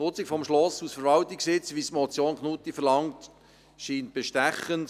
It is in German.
Die Nutzung des Schlosses als Verwaltungssitz, wie es die Motion Knutti verlangt, scheint bestechend.